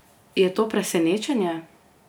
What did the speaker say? Je to presenečenje?